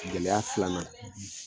Gɛlɛya filanan;